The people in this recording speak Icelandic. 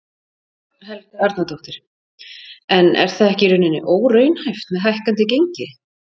Helga Arnardóttir: En er það ekki í rauninni óraunhæft með hækkandi gengi?